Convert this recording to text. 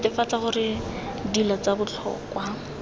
netefatsa gore dilo tsa botlhokwa